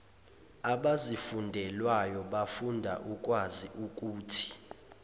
abazifundelwayo bafunda ukwaziukuthi